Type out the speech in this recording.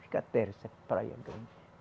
Fica terra, essa praia grande.